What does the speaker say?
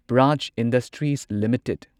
prize industries limited